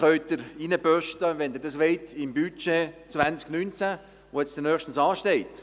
Wenn Sie dies wollen, können Sie diesen ins Budget 2019 aufnehmen, welches nächstens ansteht.